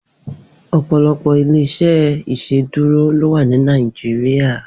Opọlọpọ ilé iṣè Iṣédùró lò wà ni Nàijiriá